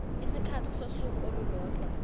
isikhathi sosuku olulodwa